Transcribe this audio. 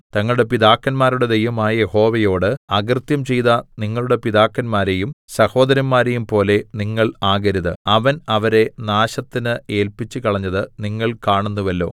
തങ്ങളുടെ പിതാക്കന്മാരുടെ ദൈവമായ യഹോവയോട് അകൃത്യം ചെയ്ത നിങ്ങളുടെ പിതാക്കന്മാരെയും സഹോദരന്മാരെയും പോലെ നിങ്ങൾ ആകരുത് അവൻ അവരെ നാശത്തിന് ഏല്പിച്ചുകളഞ്ഞത് നിങ്ങൾ കാണുന്നുവല്ലോ